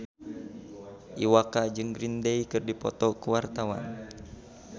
Iwa K jeung Green Day keur dipoto ku wartawan